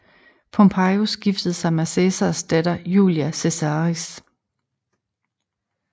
Pompejus giftede sig med Cæsars datter Julia Caesaris